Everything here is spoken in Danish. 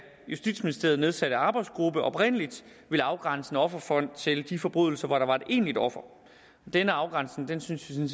justitsministeriet nedsatte arbejdsgruppe oprindeligt ville afgrænse en offerfond til de forbrydelser hvor der er et egentligt offer denne afgrænsning synes vi